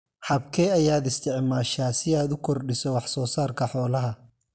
Habkee ayaad isticmaashaa si aad u kordhiso wax soo saarka xoolaha?